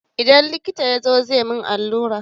Idan likita ya zo, zai yi min allura.